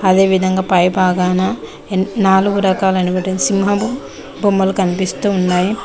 అదేవిధంగా పై భాగాన నాలుగు రకాలైన సింహం బొమ్మలు కనిపిస్తున్నాయి.